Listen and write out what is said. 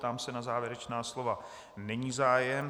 Ptám se na závěrečná slova - není zájem.